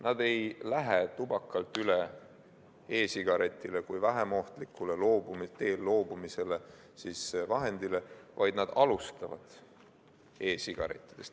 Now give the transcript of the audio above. Nad ei lähe tubakalt üle e-sigaretile kui vähem ohtlikule loobumise vahendile, vaid nad alustavad e-sigarettidest.